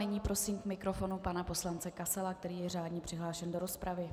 Nyní prosím k mikrofonu pana poslance Kasala, který je řádně přihlášen do rozpravy.